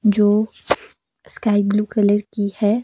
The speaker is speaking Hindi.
जो स्काई ब्ल्यू कलर की है।